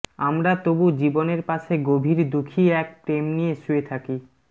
আমরা তবু জীবনের পাশে গভীর দুখি এক প্রেম নিয়ে শুয়ে থাকি